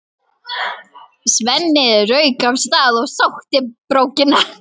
Svenni rauk af stað og sótti brókina.